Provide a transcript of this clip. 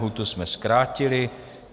Lhůtu jsme zkrátili.